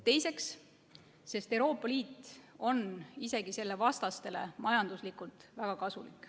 Teiseks, sellepärast et Euroopa Liit on isegi selle vastastele majanduslikult väga kasulik.